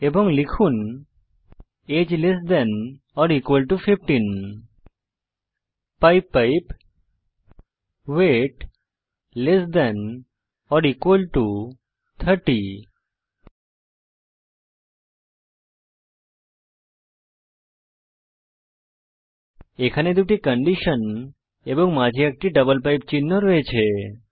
এবং লিখুন আগে less than or equal to 15 pipe pipe weight less than or equal to 30 এখানে দুটি কন্ডিশন এবং মাঝে একটি ডাবল পাইপ চিহ্ন রয়েছে